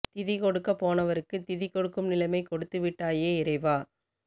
திதி கொடுக்க போனவருக்கு திதி கொடுக்கும் நிலைமை கொடுத்து விட்டாயே இறைவா